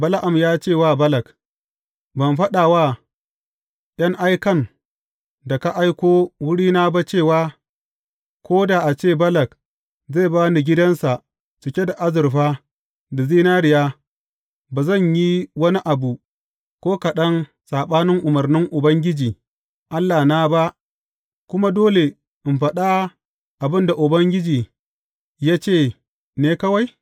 Bala’am ya ce wa Balak, Ban faɗa wa ’yan aikan da ka aiko wurina ba cewa, Ko da a ce Balak zai ba ni gidansa cike da azurfa da zinariya, ba zan yi wani abu ko kaɗan saɓanin umarnin Ubangiji Allahna ba, kuma dole in faɗa abin da Ubangiji ya ce ne kawai’?